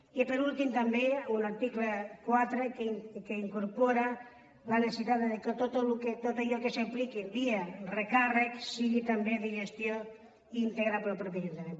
i per últim també un article quatre que incorpora la necessitat que tot allò que s’apliqui via recàrrecs sigui també de gestió íntegra pel mateix l’ajuntament